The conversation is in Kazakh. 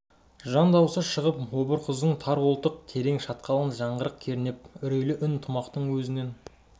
жан дауысы шығып обыр құздың тар қолтық терең шатқалын жаңғырық кернеп үрейлі үн тамұқтың өзінен